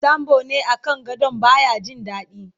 sambo ne a kan gadon baya Jin daɗi